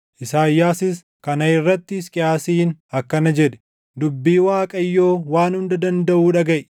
Isaayyaasis kana irratti Hisqiyaasiin akkana jedhe; “Dubbii Waaqayyoo Waan Hunda Dandaʼuu dhagaʼi: